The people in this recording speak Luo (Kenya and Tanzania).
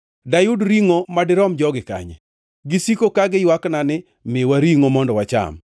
Dayud ringʼo madirom jogi kanye? Gisiko ka giywakna ni, ‘Miwa ringʼo mondo wacham!’